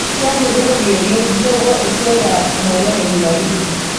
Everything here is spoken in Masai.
kiaku kirobi oleng njopo eswerta nolong ejumapili